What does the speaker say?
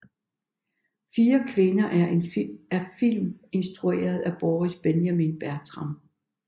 Fire kvinder er en film instrueret af Boris Benjamin Bertram